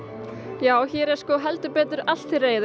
já hér er sko heldur betur allt til reiðu